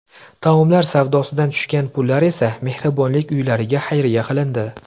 Taomlar savdosidan tushgan pullar esa mehribonlik uylariga xayriya qilindi.